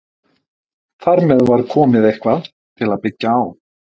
Þar með var komið eitthvað til að byggja á.